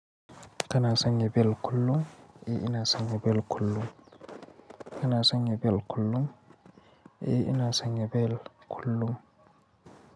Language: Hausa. Kana sanya belt kullum? Eh ina sanya bel kullum. Kana sanya bel kullum? Eh ina sanya bel kullum.